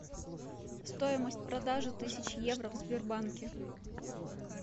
стоимость продажи тысячи евро в сбербанке